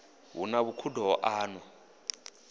hu na vhukhudo ho anwa